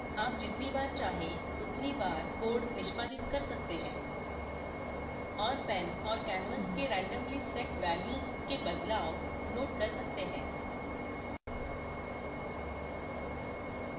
आप जितनी बार चाहें उतनी बार code निष्पादित कर सकते हैं और pen और canvas के randomly set values के बदलाव note कर सकते हैं